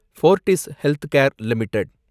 போர்டிஸ் Healthcare limited